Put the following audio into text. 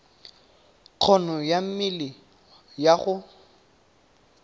kgono ya mmele ya go